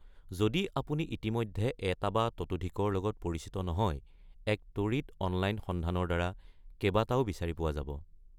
যদি আপুনি ইতিমধ্যে এটা বা তাতোধিকৰ লগত পৰিচিত নহয়, এক ত্বৰিত অনলাইন সন্ধানৰ দ্বাৰা কেবাটাও বিচাৰি পোৱা যাব।